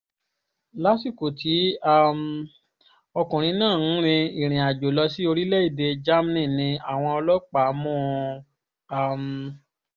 lásìkò tí um ọkùnrin náà ń rin ìrìnàjò lọ sí orílẹ̀‐èdè germany ni àwọn ọlọ́pàá mú un um